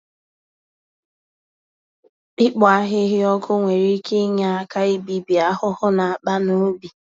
Ịkpọ ahịhịa ọkụ nwere ike inye aka ibibi ahụhụ n'akpa n'ubi